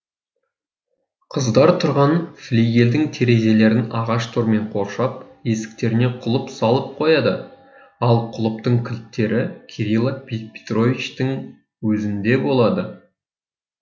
қыздар тұрған флигельдің терезелерін ағаш тормен қоршап есіктеріне құлып салып қояды ал құлыптың кілттері кирила петровичтің өзінде болады